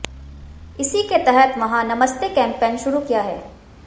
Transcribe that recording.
इसी के तहत वहां नमस्ते कैंपेन शुरू किया है